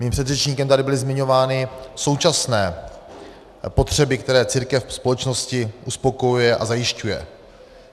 Mým předřečníkem tady byly zmiňovány současné potřeby, které církev ve společnosti uspokojuje a zajišťuje.